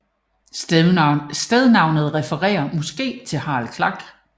Stednavnet refererer måske til Harald Klak